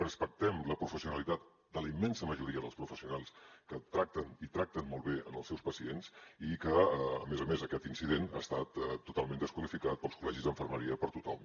respectem la professionalitat de la immensa majoria dels professionals que tracten i tracten molt bé els seus pacients i que a més a més aquest incident ha estat totalment desqualificat pels col·legis d’infermeria per tothom